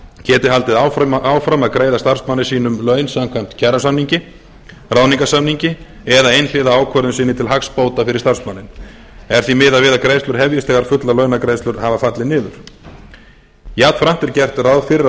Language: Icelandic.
geti haldið áfram að greiða starfsmanni sínum laun samkvæmt kjarasamninga ráðningarsamningi eða einhliða ákvörðun sinni til hagsbóta fyrir starfsmanninn er því miðað við að greiðslur hefjist þegar fullar launagreiðslur hafa fallið niður jafnframt er gert ráð fyrir að